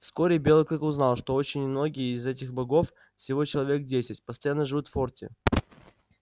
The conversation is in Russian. вскоре белый клык узнал что очень немногие из этих богов всего человек десять постоянно живут в форте